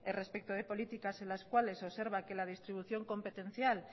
respecto de políticas en las cuales observa que la distribución competencial